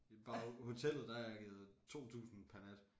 Bare hotellet der har jeg givet 2000 per nat